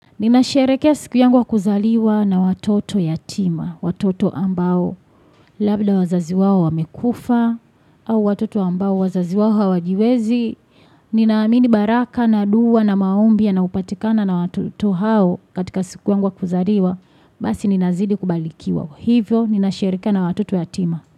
Ninasherekea siku yangu wa kuzaliwa na watoto yatima, watoto ambao, labda wazazi wao wamekufa, au watoto ambao wazazi wao hawajiwezi. Ninaamini baraka na duwa na maombi yanayopatikana na watoto hao katika siku yangu wa kuzaliwa, basi ninazidi kubalikiwa. Hivyo, ninashereke na watoto yatima.